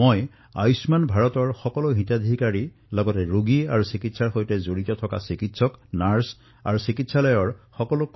মই আয়ুষ্মান ভাৰতৰ সকলো হিতাধিকাৰীৰৰ সৈতে ৰোগীৰ চিকিৎসাত ব্ৰতী সকলো চিকিৎসক নাৰ্ছ আৰু চিকিৎসা